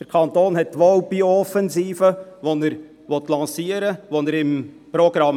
Der Kanton hat zwar eine Biooffensive, die er lancieren will, im Programm.